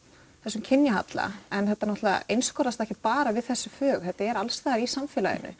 þessum kynjahalla en þetta einskorðast ekkert bara við þessi fög þetta er alls staðar í samfélaginu